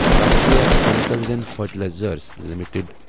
Rashtriya chemicals and fertilisers limited